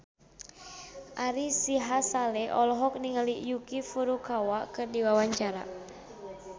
Ari Sihasale olohok ningali Yuki Furukawa keur diwawancara